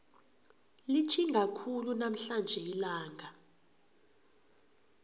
litjhisa khulu namhlanje ilanga